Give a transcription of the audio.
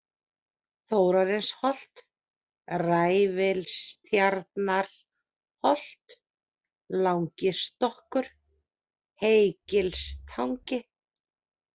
Þórarinsholt, Ræfilstjarnarholt, Langistokkur, Heygilstangi